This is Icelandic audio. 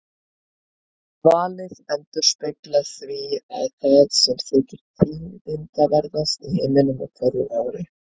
Valið endurspeglar því það sem þykir tíðindaverðast í heiminum á hverju ári.